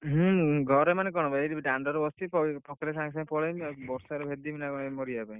ହୁଁ ଘରେ ମାନେ କଣ ଏଇ ଦାଣ୍ଡ ରେ ବସଚି ପକେଇଲେ ସାଙ୍ଗେ ସାଙ୍ଗେ ପଳେଇବି ବର୍ଷାରେ ଭେଦିବି ନା କଣ ମରିବା ପାଇଁ।